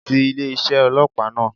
Ti ilé isé ọlọ́pàá náà